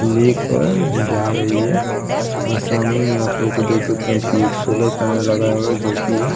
लेकर जा रही है और सामने में आप लोग खुद देख सकते हैं कि एक सोलर पैनल लगा है जो कि एक --